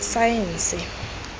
saense